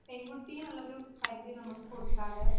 പെൺകുട്ടീനുള്ളൊരു പരുതി നമുക്ക്